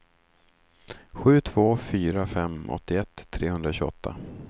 sju två fyra fem åttioett trehundratjugoåtta